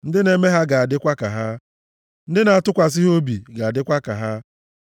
Ndị na-eme ha ga-adịkwa ka ha. Ndị na-atụkwasị ha obi ga-adịkwa ka ha.